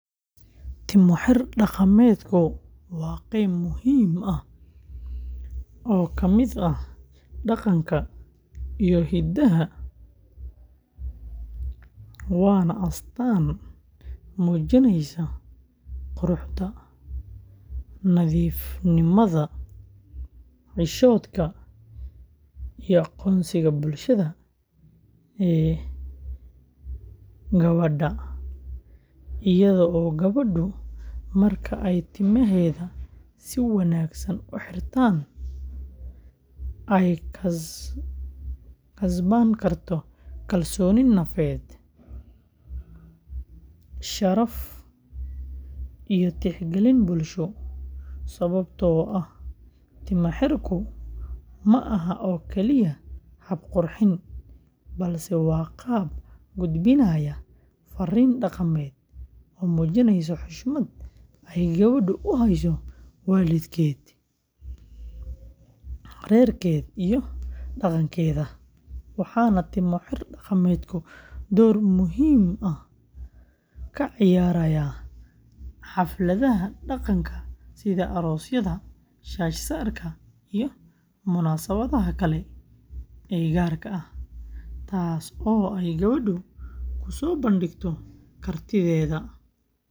Timo-xir dhaqameedku waa qayb muhiim ah oo ka mid ah dhaqanka iyo hiddaha, waana astaan muujinaysa quruxda, nadiifnimada, xishoodka iyo aqoonsiga bulshada ee gabadha, iyadoo gabadhu marka ay timaheeda si wanaagsan u xiratana ay kasban karto kalsooni nafeed, sharaf iyo tixgelin bulsho, sababtoo ah timo-xirku ma aha oo kaliya hab qurxin, balse waa qaab gudbinaya farriin dhaqameed oo muujinaysa xushmad ay gabadhu u hayso waalidkeed, reerkeed iyo dhaqankeeda, waxaana timo-xir dhaqameedku door muhiim ah ka ciyaaraa xafladaha dhaqanka sida aroosyada, shaash-saarka, iyo munaasabadaha kale ee gaar ah, taas oo ay gabadhu ku soo bandhigto kartideeda faneed.